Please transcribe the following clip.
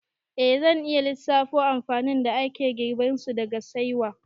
Eh, zan iya lissafo amfanin da ake girbansu daga saiwa